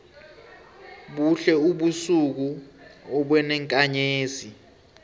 buhle ubusuku obenenkanzezi